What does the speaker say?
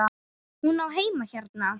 Hún á heima hérna!